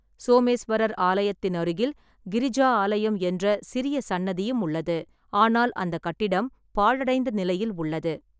சோமேஸ்வரர் ஆலயத்தின் அருகில் கிரிஜா ஆலயம் என்ற சிறிய சன்னதியும் உள்ளது, ஆனால் அந்தக் கட்டிடம் பாழடைந்த நிலையில் உள்ளது.